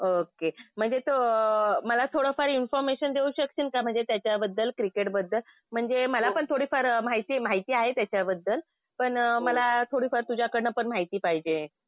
Okay. म्हणजे तू मला थोडंफार इन्फॉर्मेशन देऊ शकशील का म्हणजे त्याच्याबद्दल? क्रिकेटबद्दल? म्हणजे मलापण थोडीफार माहिती माहिती आहे त्याच्याबद्दल. पण मला थोडीफार तुझ्याकडनं पण माहिती पाहिजे.